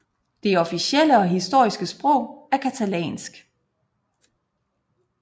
Det officielle og historiske sprog er catalansk